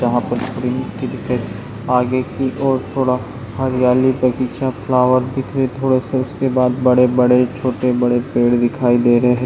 जहां पर बेहतरीन दिखे आगे की और थोडा हरियाली बगीचा फ्लावर दिखे थोड़ा सा उसके बाद बड़े बड़े छोटे बड़े पेड़ दिखाई दे रहे हैं।